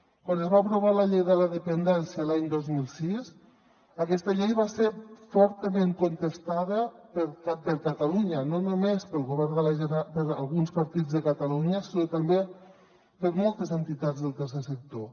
quan es va aprovar la llei de la dependència l’any dos mil sis aquesta llei va ser fortament contestada per catalunya no només per alguns partits de catalunya sinó també per moltes entitats del tercer sector